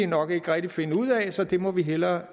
nok ikke rigtig finde ud af så det må vi hellere